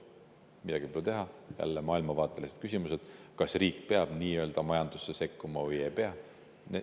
Midagi pole teha, need on jälle maailmavaatelised küsimused, kas riik peab nii-öelda majandusse sekkuma või ei pea.